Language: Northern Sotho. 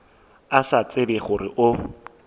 a sa tsebe gore o